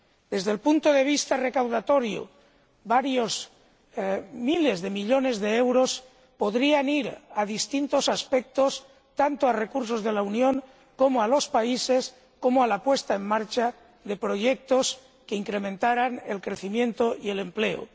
Desde el punto de vista recaudatorio, varios miles de millones de euros podrían ir a distintos aspectos, tanto a recursos de la Unión, como a los países, como a la puesta en marcha de proyectos que incrementaran el crecimiento y el empleo.